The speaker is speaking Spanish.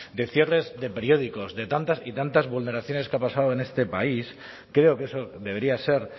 de cierres de periódicos de tantas y tantas vulneraciones que han pasado en este país creo que eso debería ser